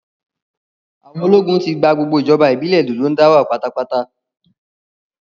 Àwọn ológun ti gba gbogbo ìjọba ìbílẹ̀ Dòdóńdáwà pátápátá